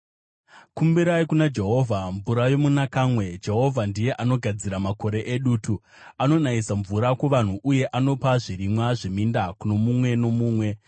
Kumbirai kuna Jehovha mvura yomunakamwe; Jehovha ndiye anogadzira makore edutu. Anonayisa mvura kuvanhu, uye anopa zvirimwa zveminda kuno mumwe nomumwe.